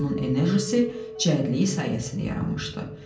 onun enerjisi cəldliyi sayəsində yaranmışdı.